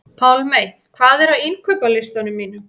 Pálmey, hvað er á innkaupalistanum mínum?